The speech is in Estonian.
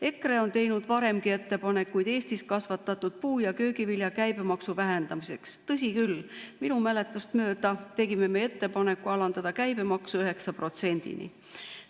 EKRE on teinud varemgi ettepanekuid Eestis kasvatatud puu- ja köögivilja käibemaksu vähendamiseks, tõsi küll, minu mäletamist mööda tegime ettepaneku alandada käibemaks 9%‑ni.